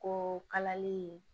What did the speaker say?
Ko kalali